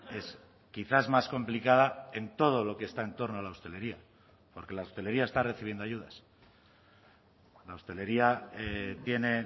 es quizás más complicada en todo lo que está en torno a la hostelería porque la hostelería está recibiendo ayudas la hostelería tiene